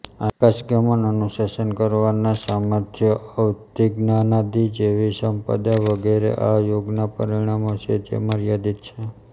આકાશ્ગમન અનુશાસન કરવાનું સામર્થ્ય અવધિજ્ઞાનાદિ જેવી સંપદા વગેરે આ યોગનાં પરિણામો છે જે મર્યાદિત છે